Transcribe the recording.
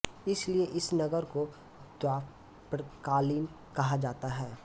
इसलिए इस नगर को द्वापरकालीन कहा जाता है